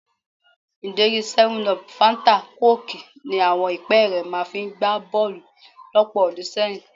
Ìdérí 7up, fáńtà kóòkì ni àwọn ìpẹ́ẹ́rẹ́ máa fi ń gbá bọ́ọ̀lù lọ́pọ̀ ọdún sẹ́yìn